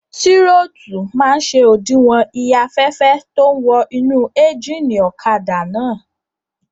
Tírótù máa n ṣe òdiwọ̀n iye afẹ́fẹ́ tó ún wọ inú éjìnì ọ̀kadà náà